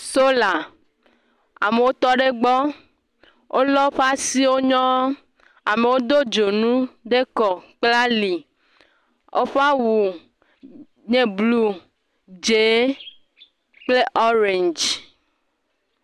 Sola, amewo tɔ ɖe egbɔ wole woƒe asio nyɔŋ, amewo do dzonu ɖe ekɔ kple ali, woƒe awu nye blu, dzẽ kple orange.